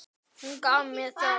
Kata nennti ekki að læra.